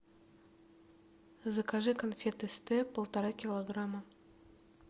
закажи конфеты степ полтора килограмма